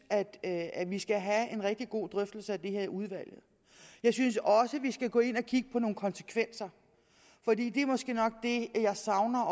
at at vi skal have en rigtig god drøftelse af det her i udvalget og jeg synes også vi skal gå ind og kigge på nogle konsekvenser for det er måske nok det jeg savner